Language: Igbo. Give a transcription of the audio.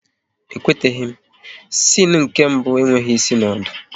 E kwetaghi m, siene nke mbụ enweghị ịsị na ọdụ